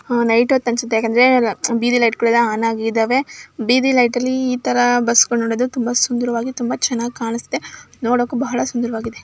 ಆ ನೈಟ್ ಒತ್ ಅನ್ಸುತ್ತೆ ಯಾಕಂದ್ರೆ ಬೀದಿ ಲೈಟ್ಗಳೆಲ್ಲ ಆನ್ ಆಗಿದಾವೆದ. ಬೀದಿ ಲೈಟ್ ಲ್ಲಿ ಇತರ ಬಸ್ಗಳ್ ನೋಡೋದು ತುಂಬಾ ಸುಂದರವಾಗಿ ತುಂಬಾ ಚನ್ನಾಗಿ ಕಾಣ್ಸುತ್ತೆ. ನೋಡೋಕು ಬಹಳ ಸುಂದರವಾಗಿದೆ.